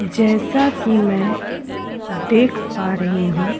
जैसा कि मैं देख पा रही हूं --